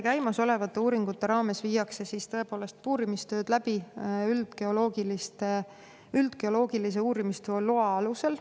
" Käimasolevate uuringute käigus viiakse puurimistööd tõepoolest läbi üldgeoloogilise uurimistöö loa alusel.